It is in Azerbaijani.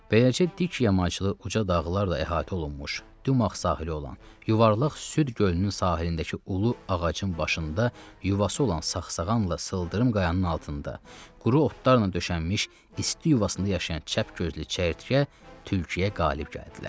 Beləcə, dik yamaçlı uca dağlarla əhatə olunmuş, dümağ sahili olan, yuvarlaq Süd gölünün sahilindəki ulu ağacın başında yuvası olan saqsağanla sıldırım qayanın altında, quru otlarla döşənmiş isti yuvasında yaşayan çəpgözlü çəyirtkə tülküyə qalib gəldilər.